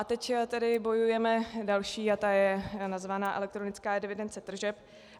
A teď tedy bojujeme další a ta je nazvaná elektronická evidence tržeb.